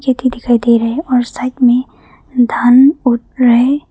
भी दिखाई दे रहा है और साइड में धान उग रहा है।